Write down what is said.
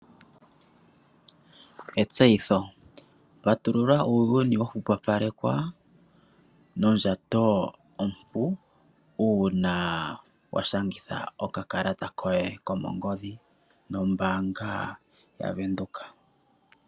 Etseyitho patulula uuyuni nondjato ya hwepopalekwa uuna washangitha okakalata koye kongodhi nombaanga yobank Windhoek.